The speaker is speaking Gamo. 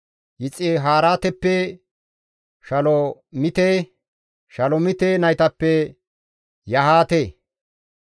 Yixihaaretappe Shalomite; Shalomite naytappe Yahaate.